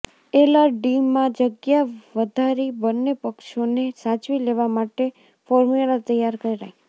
એલઆરડીમાં જગ્યા વધારી બંને પક્ષોને સાચવી લેવા માટે ફોર્મ્યુલા તૈયાર કરાઈ